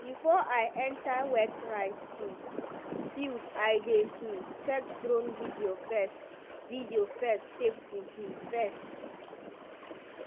before i enter wet rice um field i dey um check drone video first video first safety um first.